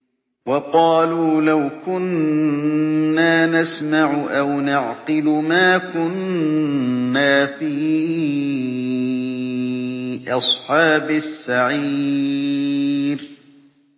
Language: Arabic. وَقَالُوا لَوْ كُنَّا نَسْمَعُ أَوْ نَعْقِلُ مَا كُنَّا فِي أَصْحَابِ السَّعِيرِ